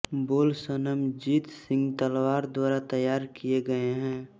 बोल सनमजीत सिंह तलवार द्वारा तैयार किये गये हैं